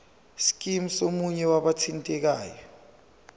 scheme somunye wabathintekayo